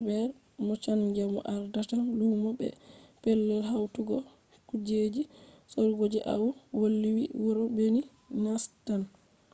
albet mochanga mo ardata lumo be pellel hautugo kujeji sorugo je au woli vi wuro binin nastan